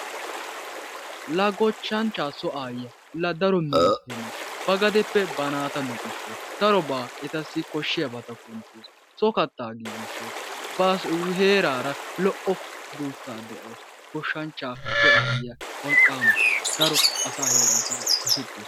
La goshshanchchaa so aayyiya la daro minottenne ba bagadeppe naata luxissawus. darobaa etassi koshshiyabata kuntawus. so kattaa giigisawus. ba heerara lo"o duusaa de'awus. goshshanchchaa so aayyiya wolqaama. daro asaarakka dosettawus.